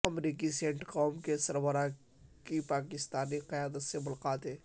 امریکی CENTCOM کے سربراہ کی پاکستانی قیادت سے ملاقاتیں